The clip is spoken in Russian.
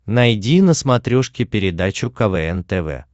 найди на смотрешке передачу квн тв